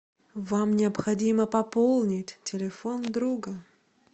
вам необходимо пополнить телефон друга